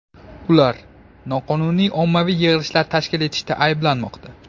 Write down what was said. Ular noqonuniy ommaviy yig‘ilishlar tashkil etishda ayblanmoqda.